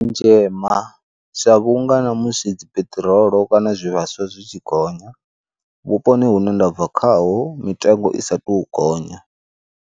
Tshema sa vhunga na musi dzi piṱirolo kana zwivhaswa zwi tshi gonya, vhuponi hune ndabva khaho mitengo i sa to gonya.